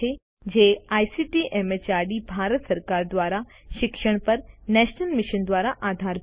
જે ICT MHRD Bharat સરકાર દ્વારા શિક્ષણ પર નેશનલ મિશન દ્વારા આધારભૂત છે